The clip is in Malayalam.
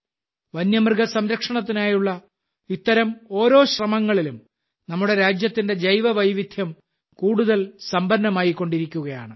വന്യമൃഗ സംരക്ഷണത്തിനായുള്ള ഇത്തരം ഓരോ ശ്രമങ്ങളിലും നമ്മുടെ രാജ്യത്തിന്റെ ജൈവവൈവിധ്യം കൂടുതൽ സമ്പന്നമായിക്കൊണ്ടിരിക്കുകയാണ്